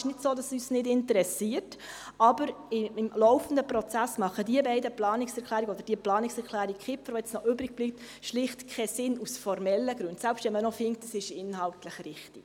Es ist nicht so, dass es uns nicht interessiert, aber im laufenden Prozess machen diese beiden Planungserklärungen, oder die Planungserklärung Kipfer, die jetzt noch übrig bleibt, aus formellen Gründen schlicht keinen Sinn, selbst wenn man findet, es sei inhaltlich richtig.